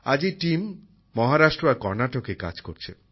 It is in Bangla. আজ এই দলটি মহারাষ্ট্র আর কর্নাটকে কাজ করছে